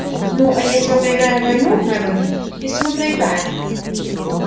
ну а если мы проиграем войну мелани если мы проиграем